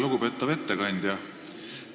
Lugupeetav ettekandja!